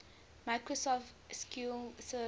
microsoft sql server